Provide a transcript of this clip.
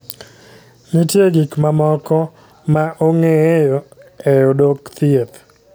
Nitie gik mamoko ma ong'eyo e Odok thieth.